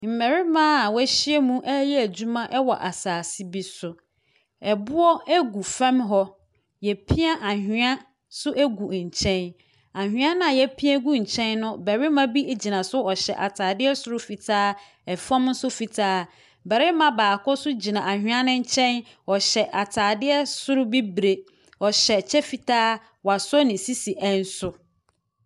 Mmarima a wɔahyia muɛreyɛ adwuma wɔ asaase bi so, boɔ gu fam hɔ, yɛapia anwea nso agu nkyɛn. anwea no a yɛapia agu nkyɛn no, barima bi gyina so, ɔhyɛ ataare soro fitaa, fam nso fitaa. Barima baako nso gyina anwea no nkyɛn, ɔhyɛ ataadeɛ soro bibire, ɔhyɛ kyɛ fitaa, wɔasɔ ne sisi nso.